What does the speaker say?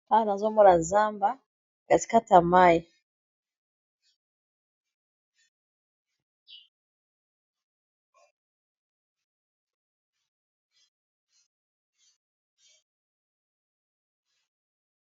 awa nazomola zamba katikatamai